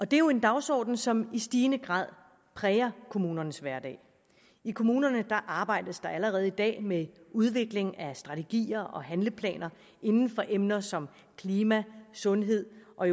det er jo en dagsorden som i stigende grad præger kommunernes hverdag i kommunerne arbejdes der allerede i dag med udvikling af strategier og handleplaner inden for emner som klima sundhed og